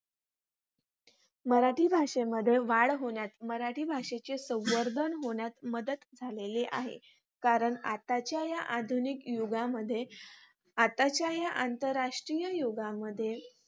मराठी भाषेमध्ये वाढ होण्यात, मराठी भाषेचे संवर्धन होण्यात मदत झालेली आहे. कारण आताच्या या आधुनिक युगामध्ये आताच्या या आंतरराष्ट्रीय युगामध्ये